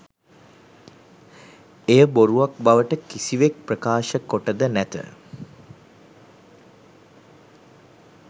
එය බොරුවක් බවට කිසිවෙක් ප්‍රකාශ කොට ද නැත